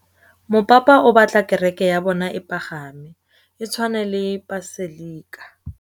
Mopapa o batla kereke ya bone e pagame, e tshwane le paselika.